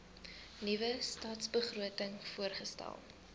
nuwe stadsbegroting voorgestel